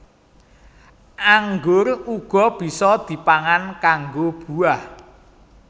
Anggur uga bisa dipangan kanggo buah